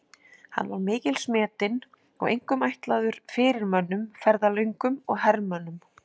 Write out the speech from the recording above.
Hann var mikils metinn og einkum ætlaður fyrirmönnum, ferðalöngum og hermönnum.